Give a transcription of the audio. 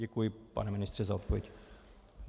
Děkuji, pane ministře, za odpověď.